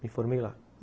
Me formei lá.